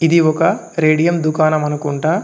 ఇది ఒక రేడియం దుకాణం అనుకుంటా.